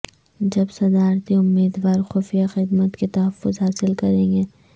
جب صدارتی امیدوار خفیہ خدمت کے تحفظ حاصل کریں گے